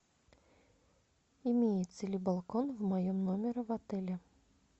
имеется ли балкон в моем номере в отеле